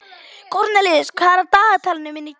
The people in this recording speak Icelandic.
Kornelíus, hvað er á dagatalinu mínu í dag?